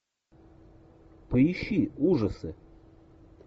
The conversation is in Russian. поищи ужасы